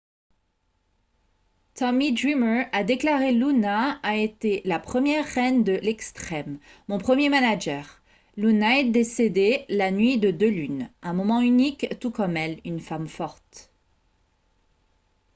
tommy dreamer a déclaré :« luna a été la première reine de l'extrême. mon premier manager. luna est décédée la nuit de deux lunes. un moment unique tout comme elle. une femme forte. »